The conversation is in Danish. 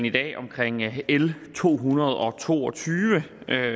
i dag omkring l to hundrede og to og tyve